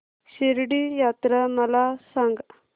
शिर्डी यात्रा मला सांग